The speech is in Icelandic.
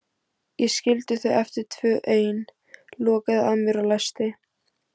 Ég skildi þau eftir tvö ein, lokaði að mér og læsti.